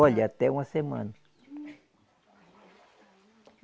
Olha, até uma semana.